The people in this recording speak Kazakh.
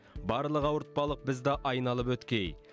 барлық ауыртпалық бізді айналып өткей